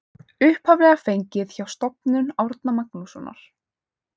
Upphaflega fengið hjá Stofnun Árna Magnússonar.